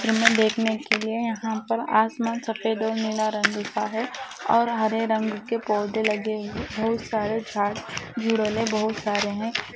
और इन्हे देखने के लिए यहाँ पर देखने के लिए आसमान सफ़ेद और नीला रंग का है और हरे रंग के पौधे लगे हैं बहुत सारे झाड़ बहुत सारे हैं।